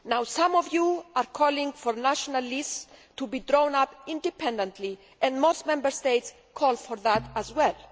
Some of you are calling for national lists to be drawn up independently, and most Member States are calling for that as well.